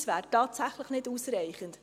Dies wäre tatsächlich nicht ausreichend.